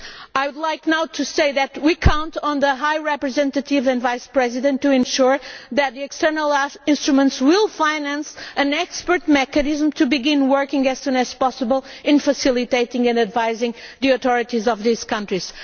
I would like to say now that we count on the High Representative and Vice President to ensure that the external instruments will finance an expert mechanism to begin working as soon as possible on facilitating and advising the authorities of these countries.